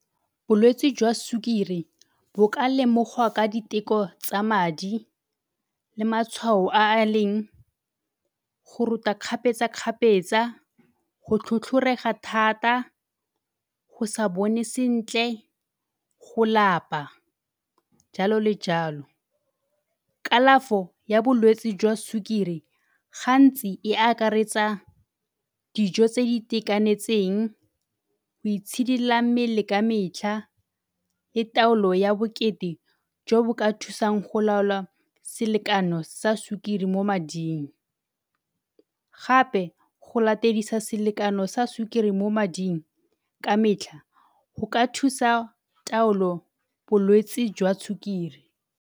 Bolwetsi jwa sukiri bo ka lemogwa ka diteko tsa madi le matshwao a a leng go rota kgapetsa-kgapetsa, go tlhotlhorega thata, go sa bone sentle, go lapa, jalo le jalo. Kalafo ya bolwetsi jwa sukiri gantsi e akaretsa dijo tse di itekanetseng, go itshidila mmele ka metlha, le taolo ya bokete e ka thusang go laola selekano sa sukiri mo mading. Gape go latedisa selekano sa sukiri mo mading ka metlha go ka thusa taolo bolwetsi jwa sukiri.